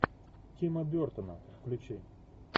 тима бертона включи